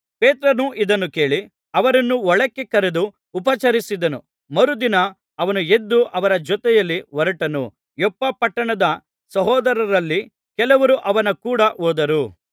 ಪೇತ್ರನು ಇದನ್ನು ಕೇಳಿ ಅವರನ್ನು ಒಳಕ್ಕೆ ಕರೆದು ಉಪಚರಿಸಿದನು ಮರುದಿನ ಅವನು ಎದ್ದು ಅವರ ಜೊತೆಯಲ್ಲಿ ಹೊರಟನು ಯೊಪ್ಪ ಪಟ್ಟಣದ ಸಹೋದರರಲ್ಲಿ ಕೆಲವರು ಅವನ ಕೂಡ ಹೋದರು